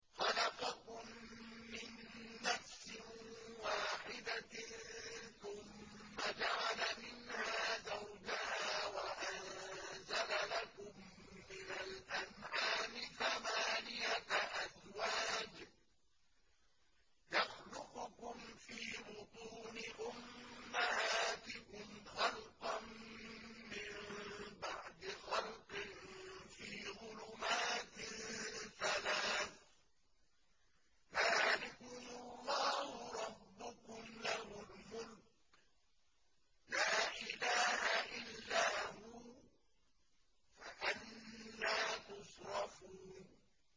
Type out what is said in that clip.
خَلَقَكُم مِّن نَّفْسٍ وَاحِدَةٍ ثُمَّ جَعَلَ مِنْهَا زَوْجَهَا وَأَنزَلَ لَكُم مِّنَ الْأَنْعَامِ ثَمَانِيَةَ أَزْوَاجٍ ۚ يَخْلُقُكُمْ فِي بُطُونِ أُمَّهَاتِكُمْ خَلْقًا مِّن بَعْدِ خَلْقٍ فِي ظُلُمَاتٍ ثَلَاثٍ ۚ ذَٰلِكُمُ اللَّهُ رَبُّكُمْ لَهُ الْمُلْكُ ۖ لَا إِلَٰهَ إِلَّا هُوَ ۖ فَأَنَّىٰ تُصْرَفُونَ